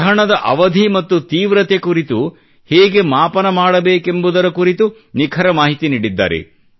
ಗ್ರಹಣದ ಅವಧಿ ಮತ್ತು ತೀವ್ರತೆ ಕುರಿತು ಹೇಗೆ ಮಾಪನ ಮಾಡಬೇಕೆಂಬುದರ ಕುರಿತು ನಿಖರ ಮಾಹಿತಿ ನೀಡಿದ್ದಾರೆ